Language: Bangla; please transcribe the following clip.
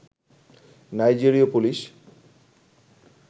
নাইজেরীয় পুলিশ